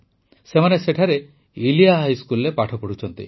ସେମାନେ ସେଠାରେ ଇଲିୟାର ହାଇସ୍କୁଲରେ ପାଠ ପଢ଼ୁଛନ୍ତି